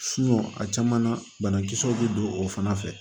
a caman na banakisɛw bɛ don o fana fɛ